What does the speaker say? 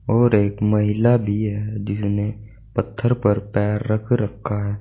और एक महिला भी है जिसने पत्थर पर पैर रख रखा है।